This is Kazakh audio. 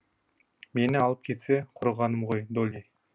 мені алып кетсе құрығаным ғой долли